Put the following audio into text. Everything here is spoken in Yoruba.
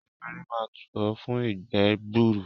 Efinrin máa tù ọ́ fún ìgbẹ́ gbuuru.